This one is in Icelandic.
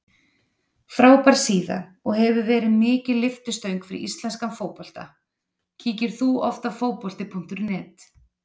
Frábær síða og hefur verið mikil lyftistöng fyrir íslenskan fótbolta Kíkir þú oft á Fótbolti.net?